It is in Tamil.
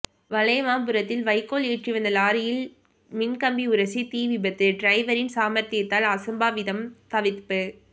வளையமாபுரத்தில் வைக்கோல் ஏற்றி வந்த லாரியில் மின் கம்பி உரசி தீ விபத்து டிரைவரின் சாமர்த்தியத்தால் அசம்பாவிதம் தவிர்ப்பு